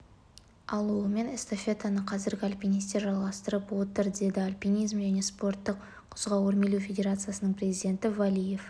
алуымен эстафетаны қазіргі альпинистер жалғастырып отыр деді альпинизм және спорттық құзға өрмелеу федерациясының президенті валиев